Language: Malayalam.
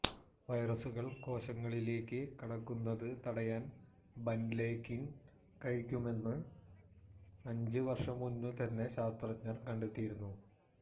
വൈറസ്സുകള് കോശങ്ങളിലേയ്ക്ക് കടക്കുന്നത് തടയാന് ബാന്ലെക്കിന് കഴിയുമെന്ന് അഞ്ച് വര്ഷം മുമ്പ് തന്നെ ശാസ്ത്രജ്ഞര് കണ്ടെത്തിയിരുന്നു